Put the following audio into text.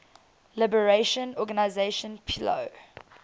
liberation organization plo